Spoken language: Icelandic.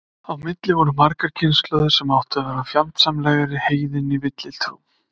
Á milli voru margar kynslóðir sem áttu að vera fjandsamlegar heiðinni villutrú.